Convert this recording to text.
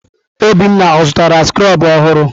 Obinna ọ zụtara skrobụ ọhụrụ?